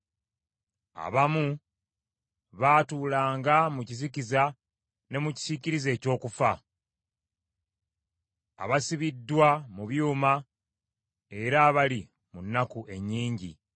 Abamu baatuulanga mu kizikiza ne mu kisiikirize eky’okufa; abasibiddwa mu byuma era abali mu nnaku ennyingi;